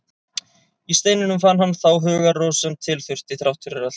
Í steininum fann hann þá hugarró sem til þurfti, þrátt fyrir allt.